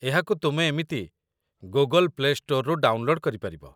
ଏହାକୁ ତୁମେ ଏମିତି ଗୁଗଲ ପ୍ଲେ ଷ୍ଟୋରରୁ ଡାଉନଲୋଡ୍ କରିପାରିବ